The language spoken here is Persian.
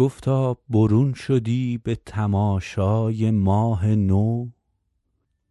گفتا برون شدی به تماشای ماه نو